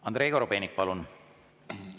Andrei Korobeinik, palun!